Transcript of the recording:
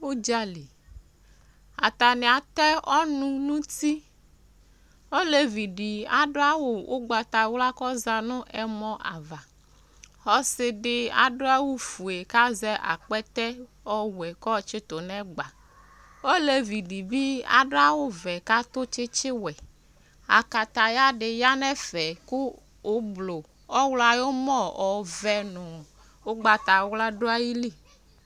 Udzali, atani atɛ ɔnu nutiOlevi di adʋ awu ugbatawla kɔza nʋ ɛmɔ'avaƆsidi adʋ awu fue kazɛ akpɛtɛ ɔwɛ kɔtsitu nɛgbaOlevi di bi adʋ awu vɛ katʋ tsitsi wɛAkataya di ya nɛfɛ ,kʋ ublu , ɔɣlɔ ayɔmɔ, ɔvɛ nʋ ugbatawla dʋ ayili